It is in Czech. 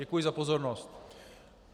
Děkuji za pozornost.